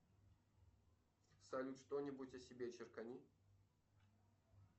салют что нибудь о себе черкани